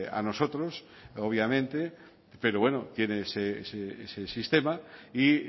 a nosotros obviamente pero bueno tiene ese sistema y